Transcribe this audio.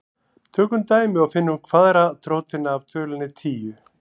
Tökum dæmi og finnum kvaðratrótina af tölunni tíu.